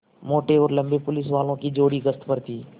मोटे और लम्बे पुलिसवालों की जोड़ी गश्त पर थी